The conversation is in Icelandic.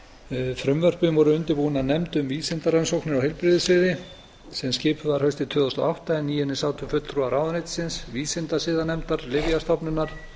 lífsýnasöfnin frumvörpin voru undirbúin af nefnd um vísindarannsóknir á heilbrigðissviði sem skipuð var haustið tvö þúsund og átta en í henni sátu fulltrúar ráðuneytisins vísindasiðanefndar lyfjastofnunar